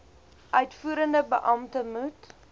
uitvoerende beampte moet